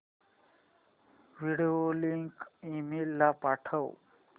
video link email ला पाठव